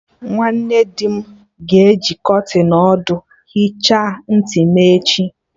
Nwanne dị m ga-eji kọtịn ọdụ hicha ntị m echi